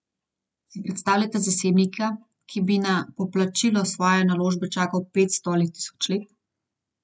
Si predstavljate zasebnika, ki bi na poplačilo svoje naložbe čakal petsto ali tisoč let?